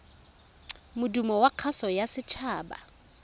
modumo wa kgaso ya setshaba